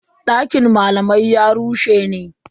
Dakin malaman ya rushe ne.